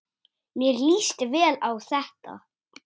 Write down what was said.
Mér líst vel á þetta.